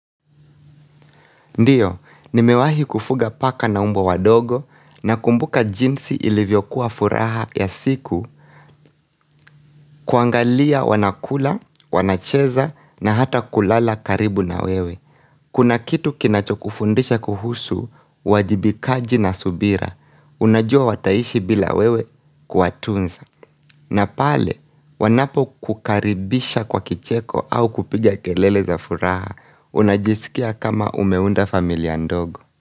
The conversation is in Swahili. Ndiyo, nimewahi kufuga paka na umbwa wadogo nakumbuka jinsi ilivyokuwa furaha ya siku kuangalia wanakula, wanacheza na hata kulala karibu na wewe Kuna kitu kinacho kufundisha kuhusu uwajibikaji na subira Unajua wataishi bila wewe kuwatunza na pale wanapokukaribisha kwa kicheko au kupiga kelele za furaha unajisikia kama umeunda familia ndogo.